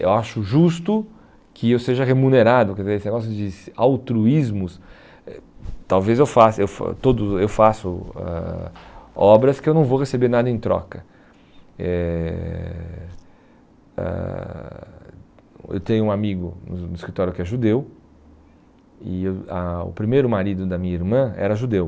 eu acho justo que eu seja remunerado, quer dizer, esse negócio de altruísmos eh talvez eu faça eh todo eu faço eh obras que eu não vou receber nada em troca eh ãh eu tenho um amigo no escritório que é judeu e o a o primeiro marido da minha irmã era judeu